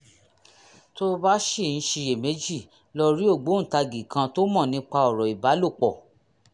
tó o bá ṣì ń ṣiyèméjì lọ rí ògbóǹtagì kan tó mọ̀ nípa ọ̀rọ̀ ìbálòpọ̀